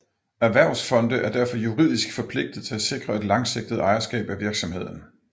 Erhvervsfonde er derfor juridisk forpligtet til at sikre et langsigtet ejerskab af virksomheden